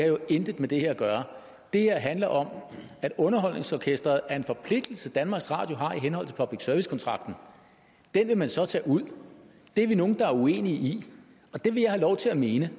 jo intet med det her at gøre det her handler om at underholdningsorkestret er en forpligtelse som danmarks radio har i henholdt til public service kontrakten det vil man så tage ud og det er vi nogle der er uenige i det vil jeg have lov til at mene